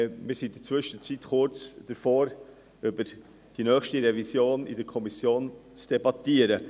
Wir stehen inzwischen kurz davor, in der Kommission über die nächste Revision zu debattieren.